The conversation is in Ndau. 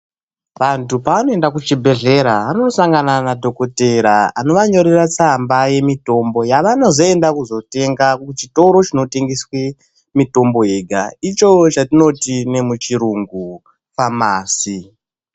Vantu pavanoenda kuchibhedhlera vanosangana nadhokotera anovanyorera tsamba yemitombo yavanozenda kuzotenga kuchitoro chinotengeswa mitombo yega ,icho chatinoti nemuchirungu famasi.